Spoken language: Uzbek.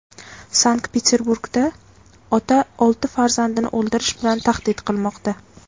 Sankt-Peterburgda ota olti farzandini o‘ldirish bilan tahdid qilmoqda.